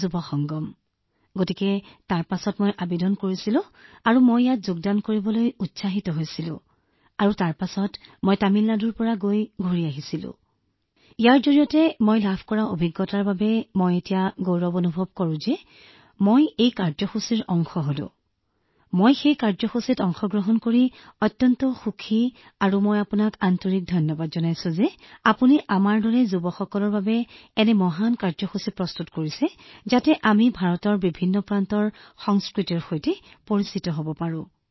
গতিকে তাৰ পিছত মই আবেদন কৰিছিলো আৰু যেতিয়া মই আবেদন কৰিছিলো মই ইয়াত যোগদান কৰিবলৈ উৎসাহিত হৈছিলোঁ কিন্তু তামিলনাডুলৈ ভ্ৰমণ কৰাৰ পিছত আৰু ঘূৰি অহাৰ পিছত মই লাভ কৰা অভিজ্ঞতাৰ সৈতে মই এতিয়া অত্যন্ত গৌৰৱান্বিত অনুভৱ কৰিছো যে মই এই কাৰ্যসূচীৰ অংশ হৈছো সেয়েহে মই সেই কাৰ্যসূচীত অংশগ্ৰহণ কৰি অত্যন্ত আনন্দিত আৰু মই আপোনালোকক হৃদয়ৰ পৰা কৃতজ্ঞতা জ্ঞাপন কৰিছো যে আপুনি আমাৰ দৰে যুৱকযুৱতীসকলৰ বাবে এনে এক আশ্চৰ্যকৰ কাৰ্যসূচী প্ৰস্তুত কৰিছে যাতে আমি ভাৰতৰ বিভিন্ন অঞ্চলৰ সংস্কৃতিৰ সৈতে খাপ খাব পাৰো